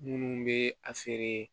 Minnu bɛ a feere